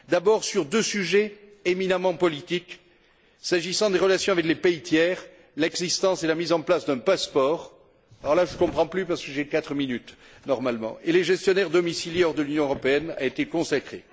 D'abord, sur deux sujets éminemment politiques, s'agissant des relations avec les pays tiers, l'existence et la mise en place d'un passeport alors là, je ne comprends plus parce que j'ai quatre minutes normalement pour les gestionnaires domiciliés hors de l'Union européenne ont été consacrées.